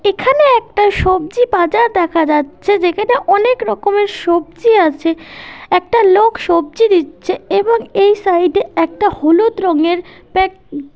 এখানে একটা সবজি বাজার দেখা যাচ্ছে যেখানে অনেক রকমের সবজি আছে একটা লোক সবজি দিচ্ছে এবং এই সাইড -এ একটা হলুদ রঙের পে--